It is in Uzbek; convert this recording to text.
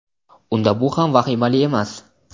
unda bu ham vahimali emas.